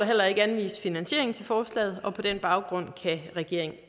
heller ikke anvist finansiering til forslaget og på den baggrund kan regeringen